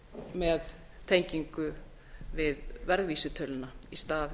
með tengingu við verðvísitölu í stað